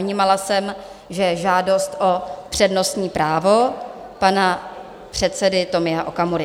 Vnímala jsem, že je žádost o přednostní právo pana předsedy Tomia Okamury.